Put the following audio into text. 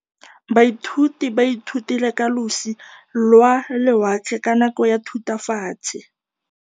Baithuti ba ithutile ka losi lwa lewatle ka nako ya Thutafatshe.